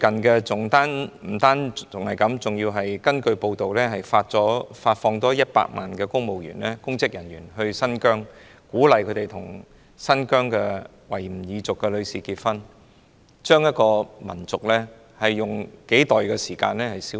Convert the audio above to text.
不單如此，內地據報調派了100萬名公職人員到新疆，並鼓勵他們與新疆維吾爾族的女士結婚，試圖將一個民族以數代時間消滅。